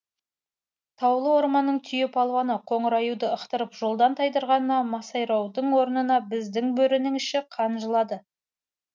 таулы орманның түйе палуаны қоңыр аюды ықтырып жолдан тайдырғанына масайраудың орнына біздің бөрінің іші қан жылады